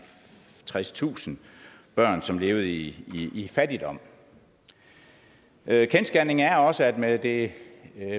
tredstusind børn som levede i fattigdom kendsgerningen er også at man med det